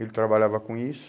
Ele trabalhava com isso.